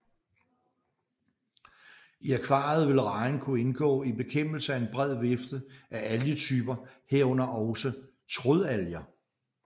I akvariet vil rejen kunne indgå i bekæmpelse af en bred vifte af algetyper herunder også trådalger